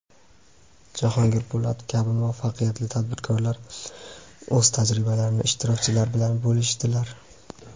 Jahongir Po‘latov kabi muvaffaqiyatli tadbirkorlar o‘z tajribalarini ishtirokchilar bilan bo‘lishdilar.